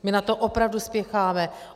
My na to opravdu spěcháme.